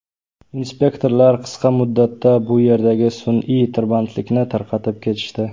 Inspektorlar qisqa muddatda bu yerdagi sun’iy tirbandlikni tarqatib ketishdi.